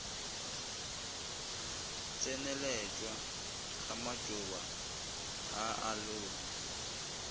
tseneletšwa ga matšoba a aloe